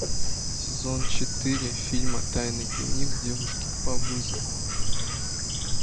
сезон четыре фильма тайный дневник девушки по вызову